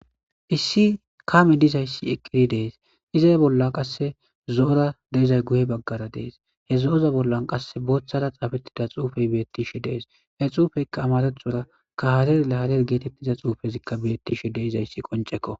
issi kame dizayssi eqqiri dees iza bolla qasse zo7ora deizay guhe baggara dees he zo7oza bollan qasse booththara xaafettida xuufey beettishe dees he xuufeykka amarethora ka hareharer geetettiza xuufezikka bettishe deizayssi qoncekko